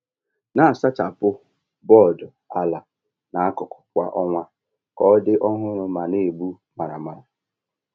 Na-asachapụ bọọdụ ala na akụkụ kwa ọnwa ka ọ dị ọhụrụ ma na-egbu maramara.